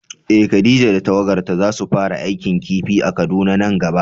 Eh Khadija da tawagarta zasu fara aikin kifi a Kaduna nan gaba.